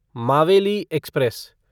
Maveli express